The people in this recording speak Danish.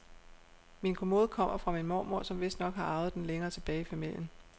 Min kommode kommer fra min mormor, som vistnok har arvet den længere tilbage i familien.